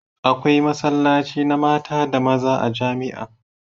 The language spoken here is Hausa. Akwai masallaci na mata da maza a jamia